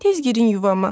Tez girin yuvama.